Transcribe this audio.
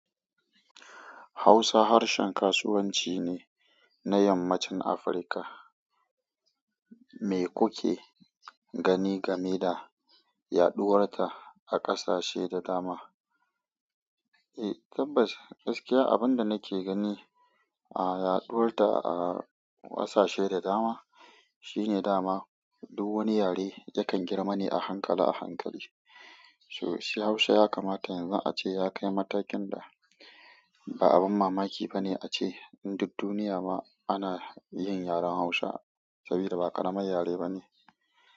Hausa harshen kasuwanci ne na yammacin Afirka. Me kuke gani game da yaɗuwar ta a ƙasashe da dama? Eh tabbas, gaskiya abin da nake gani a yaɗuwar ta a ƙasashe da dama shine dama duk wani yare yakan girma ne a hankala a hankali. Sosai Hausa ya kamata yanzu ace ya kai matakin da ba abin mamaki ba ne ace inda duniya ma ana yin yaren Hausa saboda ba ƙaramin yare ba ne.